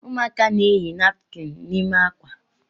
Ụmụaka na-eyi napkin n’ime akwa